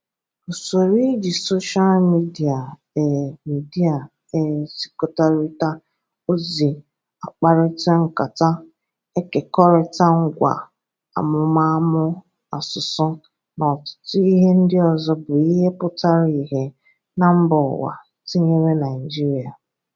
Ụsoro ịjị soshal midia e midia e zikọrịta ozi, akparita nkata, ekekọrịta ngwa amụmamụ asụsụ na ọtụtụ ihe ndị ọzọ bụ ihe pụtara ihe na mba ụwa, tinyere Naịjiria.